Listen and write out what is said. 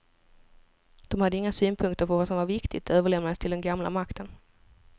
De hade inga synpunkter på vad som var viktigt, det överlämnades till den gamla makten.